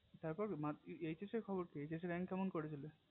তার পর HS খবর কি HS rank কেমন করেছিলে